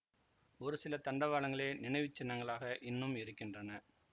ஒரு சில தண்டவாளங்களே நினைவு சின்னங்களாக இன்னும் இருக்கின்றன